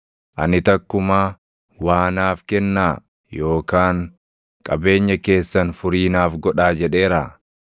Ani takkumaa, ‘Waa naaf kennaa’ yookaan ‘Qabeenya keessan furii naaf godhaa’ jedheeraa?